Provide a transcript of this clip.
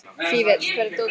Fífill, hvar er dótið mitt?